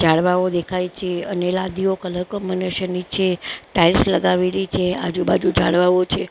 ઝાડવાંઓ દેખાય છે અને લાદીઓ કલર કોમ્બીનેશન ની છે ટાઇલ્સ લગાવેલી છે આજુ બાજુ ઝાડવાંઓ છે --